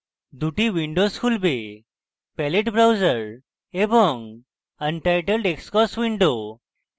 দুটি উইন্ডোস খুলবে palette browser এবং untitled xcos উইন্ডো